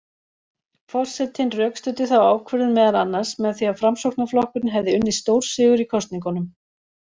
Forsetinn rökstuddi þá ákvörðun meðal annars með því að Framsóknarflokkurinn hefði unnið stórsigur í kosningunum.